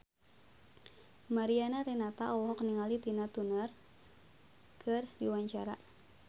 Mariana Renata olohok ningali Tina Turner keur diwawancara